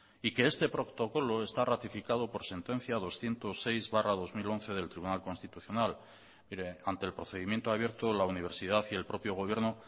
y que este protocolo está ratificado por sentencia doscientos seis barra dos mil once del tribunal constitucional mire ante el procedimiento abierto la universidad y el propio gobierno